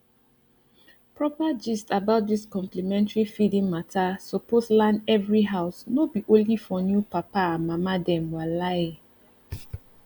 proper gist about dis complementary feeding mata suppose land every house no be only for new papa and mama dem walahi